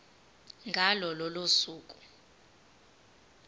ngalo lolo suku